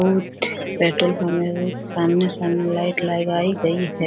बहुत petrol pump है। बहुत सामने-सामने लाइट लगाईं गई है।